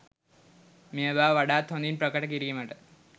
මේ බව වඩාත් හොඳින් ප්‍රකට කිරීමට